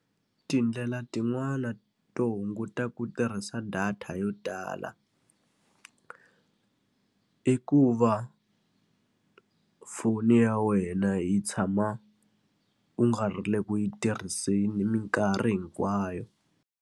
Tindlela tin'wani to hunguta ku tirhisa data yo tala i ku va foni ya wena yi tshama u nga ri le ku yi tirhiseni minkarhi hinkwayo.